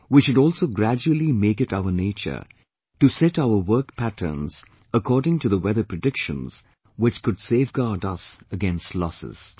We should also gradually make it our nature to set our work patterns according to the weather predictions, which could safeguard us against losses